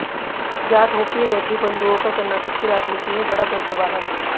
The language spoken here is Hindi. ज्ञात हो कि रेड्डी बंधुओं का कर्नाटक की राजनीति में बड़ा दबदबा है